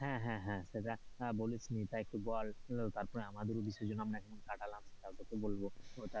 হ্যাঁ হ্যাঁ হ্যাঁ, সেটা বলিস নি তা একটু বল তারপরে আমাদেরও বিসর্জন আমরা কাটালাম, তার কথাও বলবো,